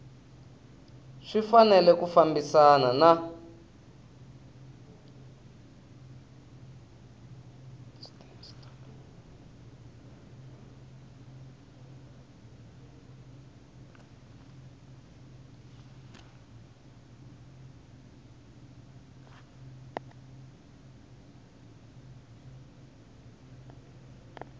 swi fanele ku fambisana na